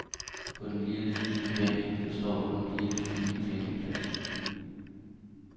På den lille, fine bænk, der står på den lille, fine klinkeplads.